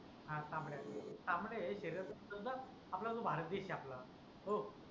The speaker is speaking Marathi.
हा तांबड्या तांबड्या आहे आपला जो भारत देश आपला.